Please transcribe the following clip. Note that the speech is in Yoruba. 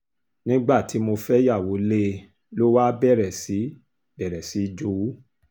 nígbà tí mo fẹ́yàwó lé e ló wáá bẹ̀rẹ̀ sí bẹ̀rẹ̀ sí í jowú